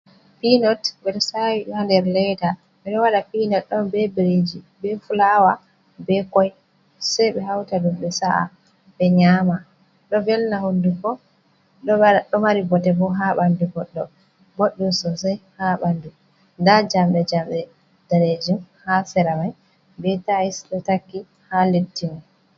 Pinot ɓe sawi ha nder ledda ɓe ɗo waɗa pinot on be biriji be fulawa be koi sei be hauta ɗum be sa’a be nyama ɗo velna hunduko ɗo mari bote bo ha ɓandu goɗɗo, boɗɗum sosai ha ɓandu. Da jamɗe jamɗe danejum ha sera mai be tais do taki ha leddi.